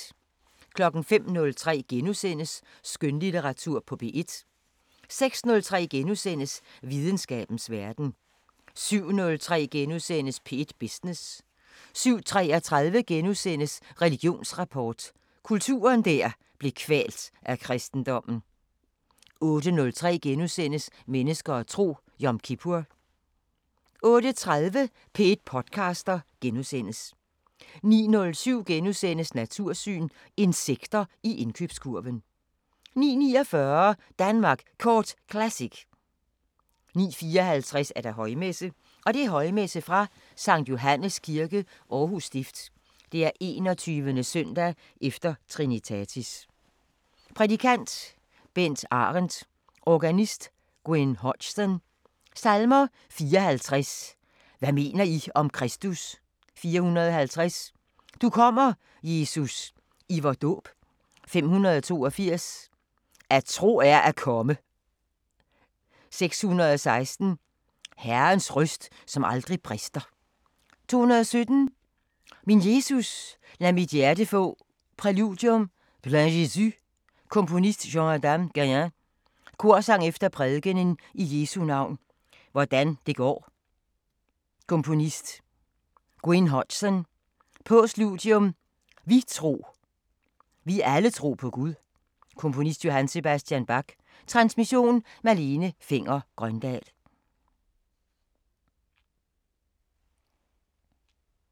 05:03: Skønlitteratur på P1 * 06:03: Videnskabens Verden * 07:03: P1 Business * 07:33: Religionsrapport: Kulturen der blev kvalt af kristendommen * 08:03: Mennesker og tro: Yom kippur * 08:30: P1 podcaster * 09:07: Natursyn: Insekter i indkøbskurven * 09:49: Danmark Kort Classic 09:54: Højmesse - Højmesse fra Skt. Johannes Kirke, Aarhus Stift. 21.s. e. Trinitatis. Prædikant: Bent Arendt. Organist: Gwyn Hodgson. Salmer: 54: Hvad mener I om Kristus 450: Du kommer, Jesus, i vor dåb 582: At tro er at komme 616: Herrens røst, som aldrig brister 217: Min Jesus, lad mit hjerte få Præludium: Plein Jeu Komponist: Jean-Adam Guilain Korsang efter prædikenen I Jesu navn hvordan det går Komponist: Gwyn Hodgson Postludium: Vi tro, vi alle tro på Gud Komponist: Johann Sebastian Bach Transmission: Malene Fenger-Grøndahl 11:05: Hjernekassen på P1: Epilepsi *